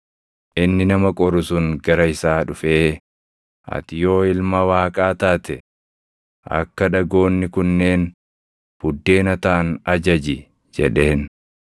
Inni nama qoru sun gara isaa dhufee, “Ati yoo Ilma Waaqaa taate, akka dhagoonni kunneen buddeena taʼan ajaji” jedheen.